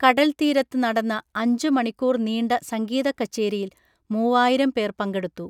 കടൽത്തീരത്ത് നടന്ന അഞ്ചു മണിക്കൂർ നീണ്ട സംഗീതക്കച്ചേരിയിൽ മൂവായിരം പേർ പങ്കെടുത്തു